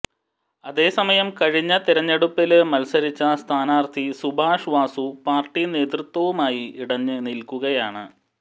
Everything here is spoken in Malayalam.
അതേസമയം കഴിഞ്ഞ തെരഞ്ഞെടുപ്പില് മത്സരിച്ച സ്ഥാനാര്ഥി സുഭാഷ് വാസു പാര്ട്ടി നേതൃത്വവുമായി ഇടഞ്ഞ് നില്ക്കുകയാണ്